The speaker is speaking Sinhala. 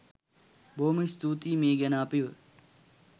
බොහොම ස්තූතියි මේ ගැන අපිව